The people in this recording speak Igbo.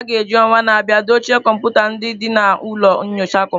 A ga-eji ọnwa na-abịa dochie kọmputa ndị dị na ụlọ nyocha kọmputa.